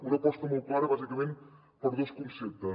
una aposta molt clara bàsicament per dos conceptes